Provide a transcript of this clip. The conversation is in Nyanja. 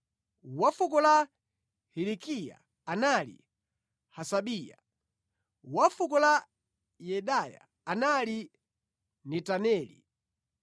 wa fuko la Hilikiya anali Hasabiya; wa fuko la Yedaya anali Netaneli.